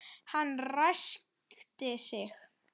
Hann ræskti sig.